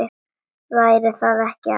Væri það ekki ágætt?